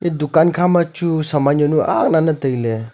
dukan khama chu saman jaonu ak lane taile.